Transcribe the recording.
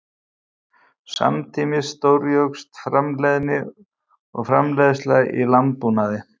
Samtímis stórjókst framleiðni og framleiðsla í landbúnaði.